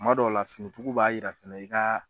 Tuma dɔw la finituguw b'a yira fɛnɛ i ka